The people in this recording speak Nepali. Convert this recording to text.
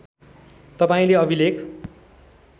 तपाईँले अभिलेख